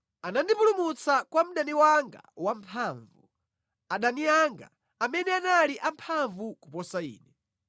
Anandipulumutsa kwa mdani wanga wamphamvu, adani anga, amene anali amphamvu kuposa ine.